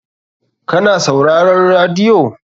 Ka na sauraron radiyo?